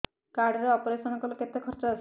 card ରେ operation କଲେ କେତେ ଖର୍ଚ ଆସିବ